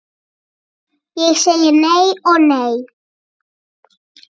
Ég segi nei og nei.